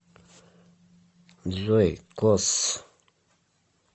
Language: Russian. джой косс